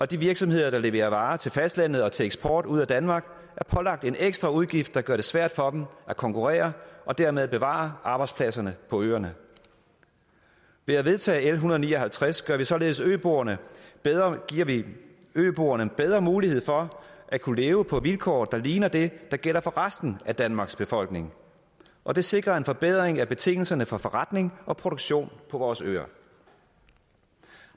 de virksomheder der leverer varer til fastlandet og til eksport ud af danmark er pålagt en ekstra udgift der gør det svært for dem at konkurrere og dermed bevare arbejdspladserne på øerne ved at vedtage l en hundrede og ni og halvtreds giver vi således øboerne bedre øboerne bedre mulighed for at kunne leve på vilkår der ligner det der gælder for resten af danmarks befolkning og det sikrer en forbedring af betingelserne for forretning og produktion på vores øer